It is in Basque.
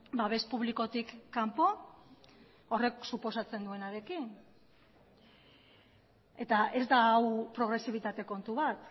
babes publikotik kanpo horrek suposatzen duenarekin eta ez da hau progresibitate kontu bat